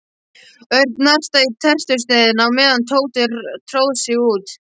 Örn nartaði í tertusneiðina á meðan Tóti tróð sig út.